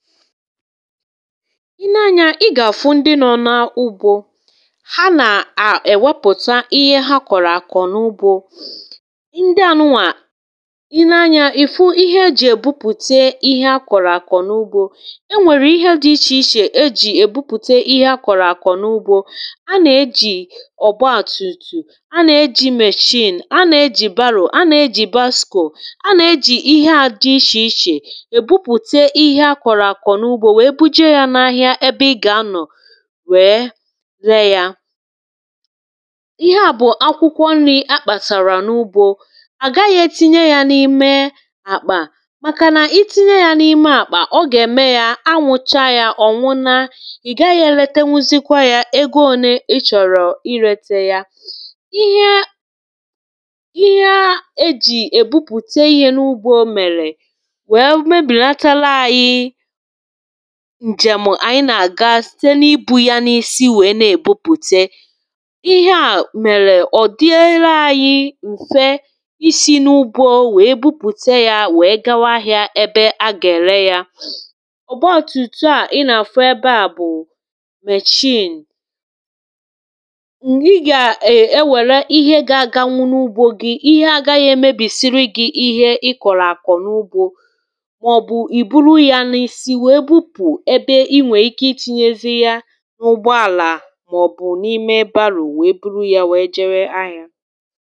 i nee anyȧ ị ga-àfụ ndị nọ n’ugbȯ ha nà-à èwepùta ihe ha kọ̀rọ̀ àkọ̀ n’ugbȯ ndị à nụwà i nee anyȧ, ìfu ihe ejì èbupùte ihe akọ̀rọ̀ àkọ̀ n’ugbȯ enwèrè ihe dị ichè ichè ejì èbupùte ihe akọ̀rọ̀ àkọ̀ n’ugbȯ a nà-ejì ọ̀gba àtùtù a nà-ejì machine a nà-ejìbaroo a nà-ejì baskò a nà-ejì ihe dị ichè ichè wee buje yȧ n’ahịa ebe ị gà-anọ̀ wee ree yȧ ihe à bụ̀ akwụkwọ nri̇ akpàsàrà n’ugbȯ à gaghị̇ ètinye yȧ n’ime àkpà màkà nà i tinye yȧ n’ime àkpà ọ gà-ème yȧ anwụcha yȧ ọ̀ nwụna ì gaghị̇ yȧ lete nwụzịkwa yȧ, ego ole ịchọ̀rọ̀ irete yȧ ihe ihe a e jì èbupùte ihe n’ugbo mèrè wee mebìlatala anyị ǹjèm̀ ànyị nà-àga site n’ibu̇ ya n’isi wèe na-èbupùte ihe à mèrè ọ̀ dịere anyị̇ m̀fe isi̇ n’ubȯ wèe bupùte yȧ wèe gawa ahị̇ȧ ebe a gà-ère yȧ ọ̀ gbaọọtụ̀tụ a ị nà-àfụ ebeȧ bụ̀ mé chiṅ i gà-ewère ihe ga-aga nwụ n’ugbȯ gi ihe agaghị̇ èmebìsiri gi̇ ihe ị kọ̀lọ̀ àkọ n’ugbȯ ọ bụpụ ebe inwe ike itinyezi ya n’ụgbọ àlà màọbụ̀ n’ime ebȧrȯ wee bụrụ ya wee jere ahịa